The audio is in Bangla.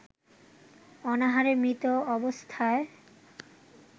অনাহারে মৃত অবস্থায়